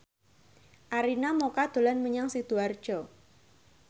Arina Mocca dolan menyang Sidoarjo